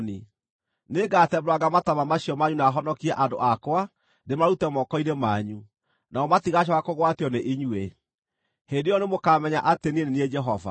Nĩngatembũranga mataama macio manyu na honokie andũ akwa ndĩmarute moko-inĩ manyu, nao matigacooka kũgwatio nĩ inyuĩ. Hĩndĩ ĩyo nĩmũkamenya atĩ niĩ nĩ niĩ Jehova.